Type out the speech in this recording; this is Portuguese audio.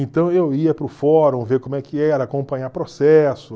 Então eu ia para o fórum ver como é que era, acompanhar processo.